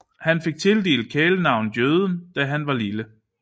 Han fik tildelt kælenavnet Jøden da han var lille